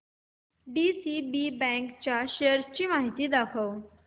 DCB bank च्या shares ची माहिती दाखव